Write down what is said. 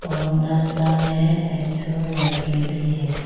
में एक ठो लड़की भी है।